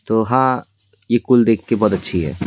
तो हां यह कुल देख के बहुत अच्छी है.